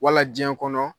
Wala jiɲɛ kɔnɔ